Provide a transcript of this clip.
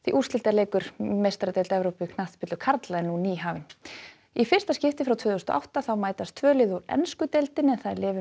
úrslitaleikur í meistaradeild Evrópu í knattspyrnu karla er nú nýhafinn í fyrsta skipti frá því tvö þúsund og átta mætast tvö lið úr ensku deildinni